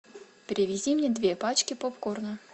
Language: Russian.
привези мне две пачки попкорна